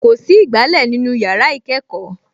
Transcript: Kò sí ìgbálẹ̀ nínú yàrá ìkẹ́kọ̀ọ́